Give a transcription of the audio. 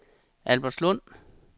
Albertslund